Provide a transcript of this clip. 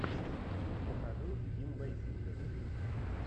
покажи ким бейсингер